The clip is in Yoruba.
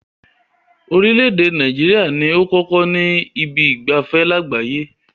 Orílẹ̀ èdè Nàìjíríà ní ó kọ́kọ́ kọ́ ibi ìgbafẹ́ lágbàáyé.